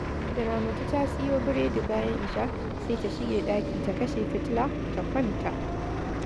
Da Ramatu ta siyo buredi bayan isha, sai ta shige ɗaki, ta kashe fitila, ta kwanta